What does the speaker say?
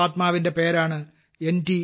ഈ മഹാത്മാവിന്റെ പേരാണ് എൻ